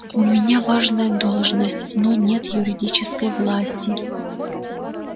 у меня важная должность но нет юридической власти